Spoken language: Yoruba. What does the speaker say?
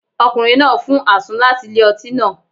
Ọkùnrin náà fún àsun láti ilé-ọtí náà